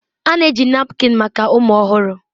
A na-eji napkin maka ụmụ ọhụrụ.